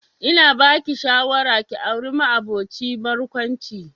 Ina ba ki shawara ki auri ma'aboci barkwanci